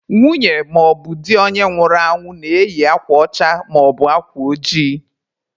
Nwunye maọbụ di onye nwụrụ anwụ na-eyi akwa ọcha maọbụ akwa ojii.